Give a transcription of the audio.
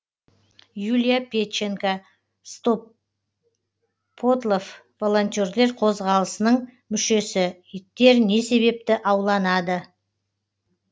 юлия педченко стоппотлов волонтерлер қозғалысының мүшесі иттер не себепті ауланады